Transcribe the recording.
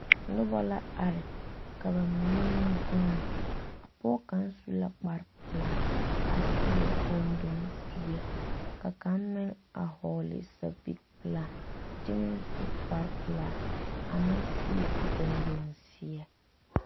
Noba la ka ba mine meŋ vuuni pɔge kaŋa su la kpare pelaa a seɛ gunduŋ zeɛ ka kaŋ meŋ vɔgle sapili pelaa kyɛ meŋ su kpare pelaa a meŋ zeɛ gunduŋ zeɛ.